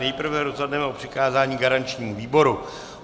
Nejprve rozhodneme o přikázání garančnímu výboru.